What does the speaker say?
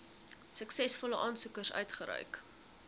suksesvolle aansoekers uitgereik